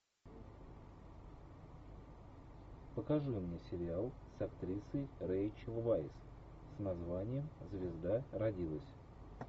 покажи мне сериал с актрисой рэйчел вайс с названием звезда родилась